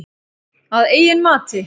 Að eigin mati.